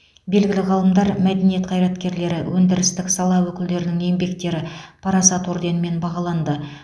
белгілі ғалымдар мәдениет қайраткерлері өндірістік сала өкілдерінің еңбектері парасат орденімен бағаланды